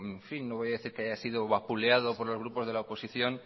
en fin no voy a decir que haya sido vapuleado por los grupos de la oposición